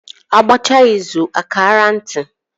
A gbachaa izù a kaara nti, is one of the proverbs that I know